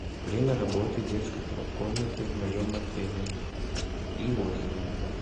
время работы детской комнаты в моем отеле и отзывы